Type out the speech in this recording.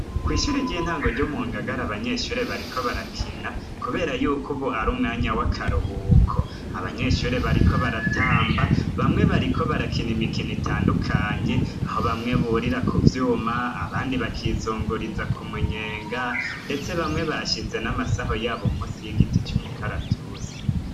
Kwishure ryintango ryo mungagagar abanyeshure bariko barakina kubera yuko ubu arumwanya wakaruhuko abanyeshure bariko baratamba bamwe bariko barakina imikino itandukanye aho bamwe burira kuvyuma abandi bakizunguritsa kumunyenga ndetse bamee bashize namasaho yabo munsi yigiti cumukaratusi